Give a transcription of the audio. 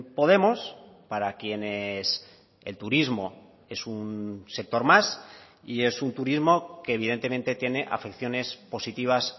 podemos para quienes el turismo es un sector más y es un turismo que evidentemente tiene afecciones positivas